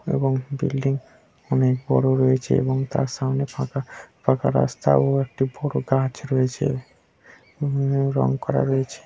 এবং বিল্ডিং অনেক বড়ো রয়েছে এবং তার সামনে ফাঁকা ফাঁকা রাস্তা ও একটি বড়ো গাছ রয়েছে। উম রং করা রয়েছে।